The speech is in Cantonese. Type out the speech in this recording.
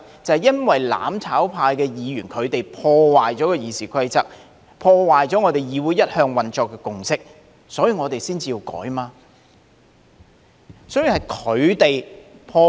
就是因為"攬炒派"議員破壞了《議事規則》、破壞了議會一向運作的共識，所以我們才要提出修改。